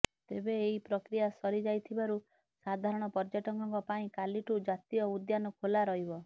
ତେବେ ଏହି ପ୍ରକ୍ରିୟା ସରି ଯାଇଥିବାରୁ ସାଧାରଣ ପର୍ଯ୍ୟଟକଙ୍କ ପାଇଁ କାଲିଠୁ ଜାତୀୟ ଉଦ୍ୟାନ ଖୋଲା ରହିବ